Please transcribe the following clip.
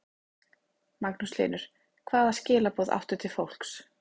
Magnús Hlynur: Hvaða skilaboð áttu til fólks?